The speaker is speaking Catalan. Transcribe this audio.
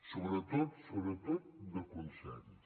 sobretot sobretot de consens